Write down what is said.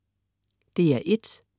DR1: